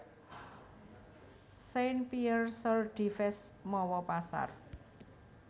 Saint Pierre sur Dives mawa pasar